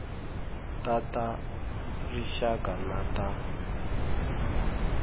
ta ta rixaka na ta